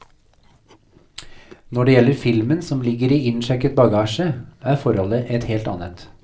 Når det gjelder filmen som ligger i innsjekket bagasje er forholdet et helt annet.